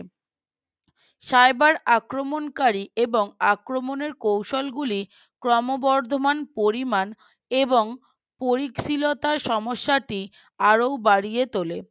Cyber আক্রমণকারী এবং আক্রমণের কৌশল গুলির ক্রমবর্ধমান পরিমাণ এবং পরিধিলতা সমস্যাটি আরো বাড়িয়ে তোলে